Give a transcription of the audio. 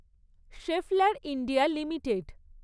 শেফলার India limited